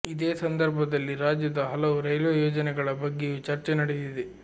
ಇದೇ ಸಂದರ್ಭದಲ್ಲಿ ರಾಜ್ಯದ ಹಲವು ರೈಲ್ವೆ ಯೋಜನೆಗಳ ಬಗ್ಗೆಯೂ ಚರ್ಚೆ ನಡೆದಿದೆ